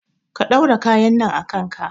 Ka ɗaura kayan nan a kanka